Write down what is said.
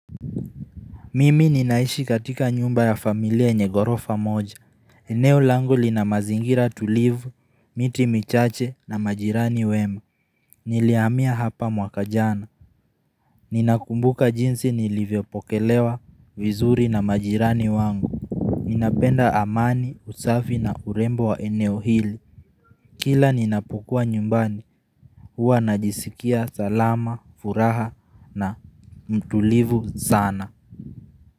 Mimi ninaishi katika nyumba ya familia yenye gorofa moja. Eneo lango lina mazingira tulivu, miti michache na majirani wema. Niliamia hapa mwaka jana. Ninakumbuka jinsi nilivyopokelewa vizuri na majirani wangu. Ninapenda amani, usafi na urembo wa eneo hili. Kila ninapokuwa nyumbani, huwa najisikia salama, furaha na mtulivu sana.